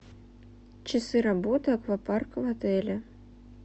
часы работы аквапарка в отеле